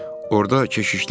Orda keşişlik edir.